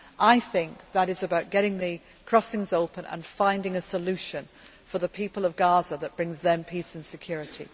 possible way. I think this is about getting the crossings open and finding a solution for the people of Gaza that brings them peace